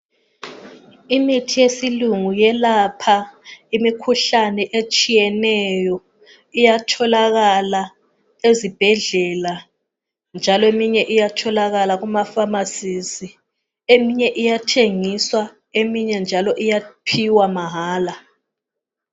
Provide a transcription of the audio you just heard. Imithi yesilungu iyelapha imikhuhlane etshiyeneyo. Iyatholakala ezibhedlela njalo eminye Iyatholakala lakuma pharmacies. Eminye iyathengiswa eminye njalo iyaphiwa mahala.